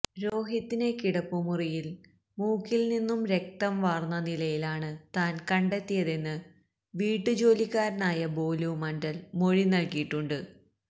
രോഹിതിനെ കിടപ്പുമുറിയില് മുക്കില് നിന്നും രക്തം വന്ന നിലയിലാണ് താന് കണ്ടെത്തിയതെന്ന് വീട്ടുജോലിക്കാരനായ ബോലു മണ്ഡല് മൊഴി നല്കിയിട്ടുണ്ട്